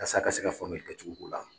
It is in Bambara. Halisa a ka se ka faamuyali kɛ cogo ko la.